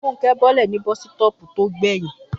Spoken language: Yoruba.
Fúnkẹ́ bọ́lẹ̀ ní bọ́sítọ̀ọ̀pù tí ó gbẹ̀yìn